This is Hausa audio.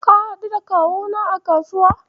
Ka haɗu da Kawuna a kasuwar?